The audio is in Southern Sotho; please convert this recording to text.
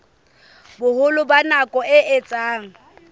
boholo ba nako e etsang